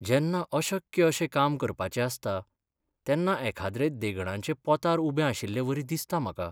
जेन्ना अशक्य अशें काम करपाचें आसता तेन्ना एखाद्रे देगणाचे पोंतार उबे आशिल्लेवरी दिसता म्हाका.